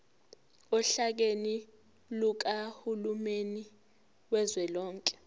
ohlakeni lukahulumeni kazwelonke